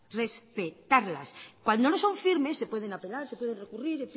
respetarlas cuando no son firmes se pueden apelar se pueden recurrir